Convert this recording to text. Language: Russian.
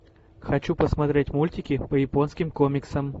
хочу посмотреть мультики по японским комиксам